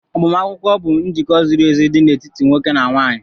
Agbamakwụkwọ bụ njikọ ziri ezi dị n'etiti nwoke na nwaanyị